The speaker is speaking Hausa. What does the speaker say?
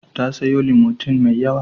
Ta sayo Limotin mai yawa.